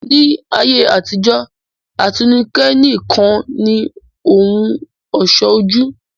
Ni ayé àtijọ́, àtíké nìkan ni ohùn ọ̀ṣọ́ ojú